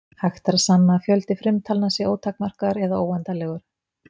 Hægt er að sanna að fjöldi frumtalna sé ótakmarkaður eða óendanlegur.